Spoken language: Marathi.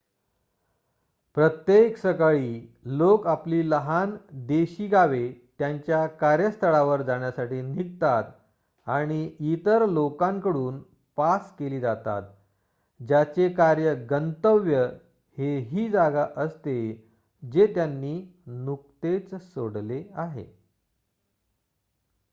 प्रत्येक सकाळी लोक आपली लहान देशी गावे त्यांच्या कार्यस्थळावर जाण्यासाठी निघतात आणि इतर लोकांकडून पास केली जातात ज्याचे कार्य गंतव्य हे ही जागा असते जे त्यांनी नुकतेच सोडले आहे